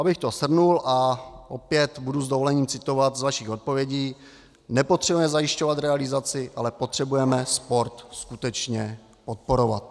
Abych to shrnul - a opět budu s dovolením citovat z vašich odpovědí: nepotřebujeme zajišťovat realizaci, ale potřebujeme sport skutečně podporovat.